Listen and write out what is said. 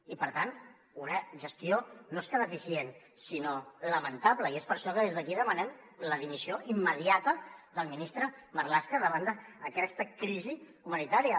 i per tant una gestió no és que deficient sinó lamentable i és per això que des d’aquí demanem la dimissió immediata del ministre marlaska davant d’aquesta crisi humanitària